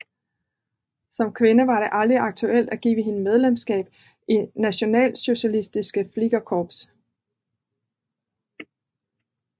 Som kvinde var det aldrig aktuelt at give hende medlemskab i Nationalsozialistisches Fliegerkorps